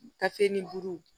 Kasini duuru